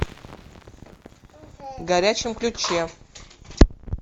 горячем ключе